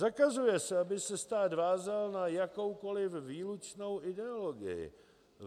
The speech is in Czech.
Zakazuje se, aby se stát vázal na jakoukoli výlučnou ideologii.